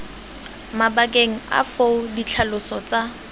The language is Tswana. mabakeng a foo ditlhaloso tsa